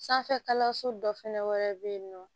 Sanfɛ kalanso dɔ fɛnɛ wɛrɛ be yen nɔ